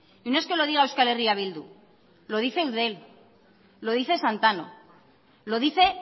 y no es que lo diga euskal herria bildu lo dice eudel lo dice santano lo dice